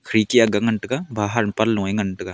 piti aak ga ngan tega bahar pan low a ngan tega.